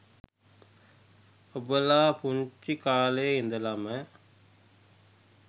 ඔබලා පුංචි කාලෙ ඉඳලම